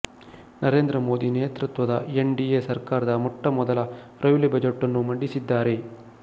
ನರೇಂದ್ರ ಮೋದಿ ನೇತೃತ್ವದ N D A ಸರ್ಕಾರದ ಮೊಟ್ಟ ಮೊದಲ ರೈಲ್ವೆ ಬಜೆಟ್ ನ್ನು ಮಂಡಿಸಿದ್ದಾರೆ